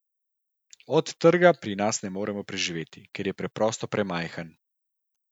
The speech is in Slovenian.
Od trga pri nas ne moremo preživeti, ker je preprosto premajhen.